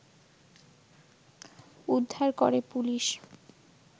উদ্ধার করে পুলিশ